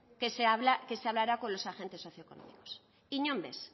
que se hablará con los agentes socioeconómicos inon bez